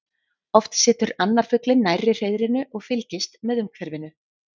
Oft situr annar fuglinn nærri hreiðrinu og fylgist með umhverfinu.